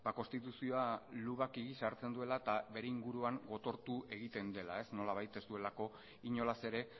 konstituzioa lubaki gisa hartzen duela eta bere inguruan gotortu egiten dela nolabait ez duelako inolaz ere